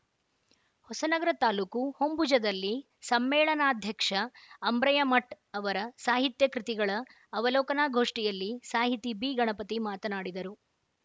ಹೊಸನಗರ ತಾಲೂಕು ಹೊಂಬುಜದಲ್ಲಿ ಸಮ್ಮೇಳನಾಧ್ಯಕ್ಷ ಅಂಬ್ರಯ್ಯಮಠ್ ಅವರ ಸಾಹಿತ್ಯ ಕೃತಿಗಳ ಅವಲೋಕನಾ ಗೋಷ್ಠಿಯಲ್ಲಿ ಸಾಹಿತಿ ಬಿಗಣಪತಿ ಮಾತನಾಡಿದರು